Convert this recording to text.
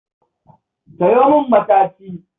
Sayo min mataci